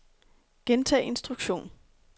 gentag instruktion